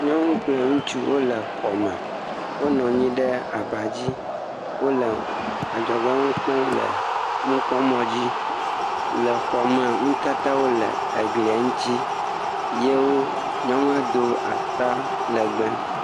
Nyɔnu kple ŋutsu wole xɔme. Wonɔ anyi ɖe abadzi, wole adzɔge nu kpɔm le nukpɔmɔ̃dzi le xɔme. Nutatawo le eglie ŋtsi. Ye wo, nyɔnua do atalɛgbɛ.